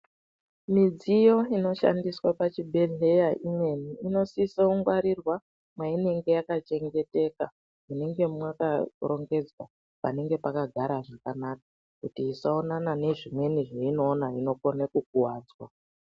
Midziyo inoshandiswa pachibhehleya imweni inosise kungwarirwa mwainenge yakachengeteka munenge mwakarongedzwa panenge pakagara zvakanaka kuti isaonana nezvimweni zveinoona inokone kukuwadzwa.